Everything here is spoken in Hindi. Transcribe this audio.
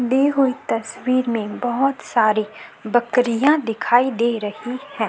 दी हुई तस्वीर में बहोत सारी बकरियाँ दिखाई दे रही हैं।